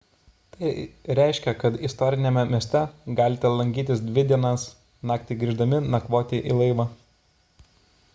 tai reiškia kad istoriniame mieste galite lankytis dvi dienas naktį grįždami nakvoti į laivą